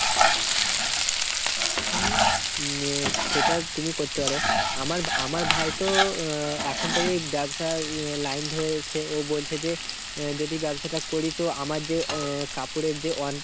হম উম সেটা তুমি করতে পারো। আমার আমার ভাই তো আ এখন থেকেই ব্যবসার আ line ধরেছে ও বলছে যে, আ যদি ব্যবসাটা করি তো আমার যে কাপড়ের যে on